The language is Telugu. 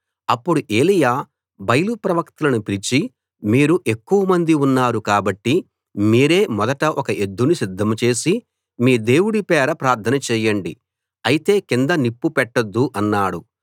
అప్పుడు ఏలీయా బయలు ప్రవక్తలను పిలిచి మీరు ఎక్కువ మంది ఉన్నారు కాబట్టి మీరే మొదట ఒక ఎద్దును సిద్ధం చేసి మీ దేవుడి పేర ప్రార్థన చేయండి అయితే కింద నిప్పు పెట్టొద్దు అన్నాడు